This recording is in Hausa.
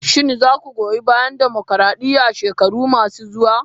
Shin za ku goyi bayan dimokradiyya a shekaru masu zuwa?